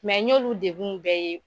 Mɛ n y'olu degun bɛɛ ye.